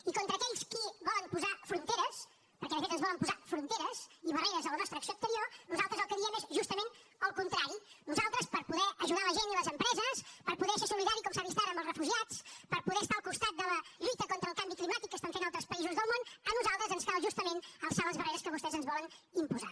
i contra aquells que volen posar fronteres perquè de fet ens volen posar fronteres i barreres a la nostra acció exterior nosaltres el que diem és justament el contrari a nosaltres per poder ajudar la gent i les empreses per poder ser solidari com s’ha vist ara amb els refugiats per poder estar al costat de la lluita contra el canvi climàtic que fan altres països del món ens cal justament alçar les barreres que vostès ens volen imposar